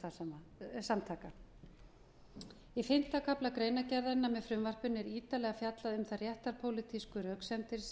skipulagðra glæpasamtaka í fimmta kafla greinargerðarinnar með frumvarpinu er ítarlega fjallað um þær réttarpólitísku röksemdir sem